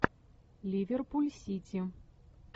ливерпуль сити